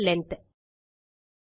string length